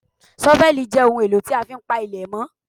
ṣọ́fẹ́lì jẹ́ ohun èlò tí a fi ń pa ilẹ̀ mọ́